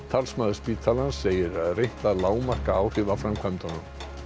talsmaður spítalans segir reynt að lágmarka áhrif af framkvæmdunum